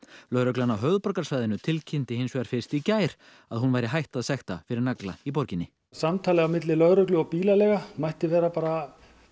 lögreglan á höfuðborgarsvæðinu tilkynnti fyrst í gær að hún væri hætt að sekta fyrir nagla í borginni samtalið á milli lögreglu og bílaleiga mætti vera